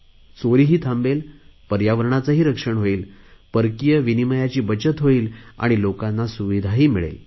चोरी ही थांबेल पर्यावरणाचे रक्षणही होईल परकीय विनिमयाची बचत होईल आणि लोकांना सुविधाही मिळेल